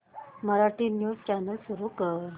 Marathi news channel सुरू कर